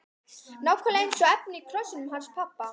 Nákvæmlega eins efni og í krossinum hans pabba!